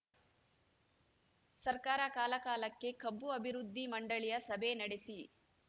ಸರ್ಕಾರ ಕಾಲಕಾಲಕ್ಕೆ ಕಬ್ಬು ಅಭಿವೃದ್ಧಿ ಮಂಡಳಿಯ ಸಭೆ ನಡೆಸಿ